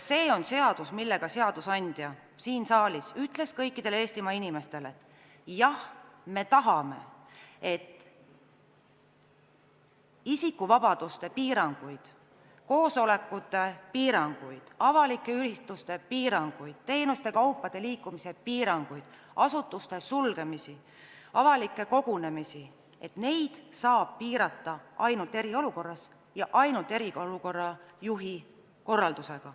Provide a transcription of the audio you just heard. See on seadus, millega seadusandja ütles siin saalis kõikidele Eestimaa inimestele, et jah, me tahame, et isikuvabaduste piiranguid, koosolekute piiranguid, avalike ürituste piiranguid, teenuste osutamise ja kaupade liikumise piiranguid, asutuste sulgemisi, avalike kogunemiste piiranguid saab rakendada ainult eriolukorras ja ainult eriolukorra juhi korraldusel.